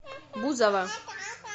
бузова